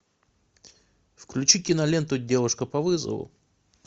включи киноленту девушка по вызову